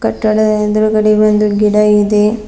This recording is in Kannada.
ಕಟ್ಟಡದ ಎದ್ರುಗಡೆ ಒಂದು ಗಿಡ ಇದೆ.